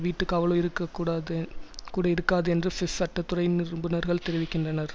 வீட்டுக்காவலோ இருக்ககூடாது கூட இருக்காது என்று சுவிஸ் சட்ட துறை நிபுணர்கள் தெரிவிக்கின்றனர்